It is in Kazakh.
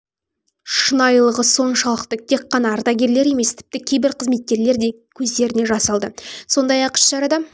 шынайылығы соншалықты тек қана ардагерлер емес тіпті кейбір қызметкерлер де көздеріне жас алды сондай-ақ іс-шарада